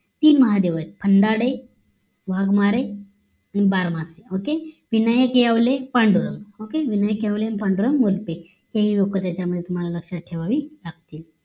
तीन महादेव आहेत अंधाडे वाघमारे आणि बारमासे okay विनायक येवले पांडुरंग OKAY विनायक येवले आणि पांडुरंग वक्ते हेही लोक त्याच्यामध्ये तुम्हाला लक्ष्यात ठेवावी लागतील